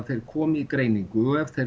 koma í greiningu og ef þeir